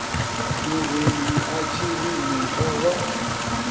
murendi a tshiri muta wa